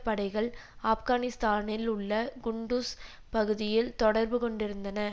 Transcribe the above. படைகள் ஆப்கானிஸ்தானில் உள்ள குண்டுஸ் பகுதியில் தொடர்பு கொண்டிருந்தன